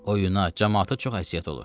Oyuna camaata çox əziyyət olur.